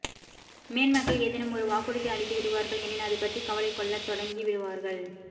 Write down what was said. மேன்மக்கள் ஏதேனும் ஒரு வாக்குறுதி அளித்து விடுவார்கள் எனில் அது பற்றி கவலைகொள்ளத்தொடங்கி விடுவார்கள்